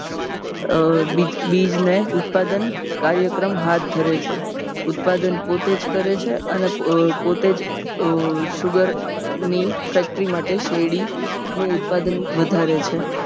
બીજને ઉત્પાદન કાર્યક્રમ હાથ ધરે છે. ઉત્પાદન પોતેજ કરે છે અને પોતેજ sugar factory માટે શેરડીનું ઉત્પાદન વધારે છે